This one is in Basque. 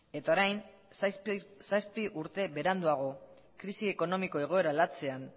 eta orain zazpi urte beranduago krisi ekonomiko egoera latzean